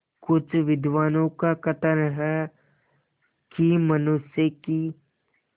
कुछ विद्वानों का कथन है कि मनुष्य की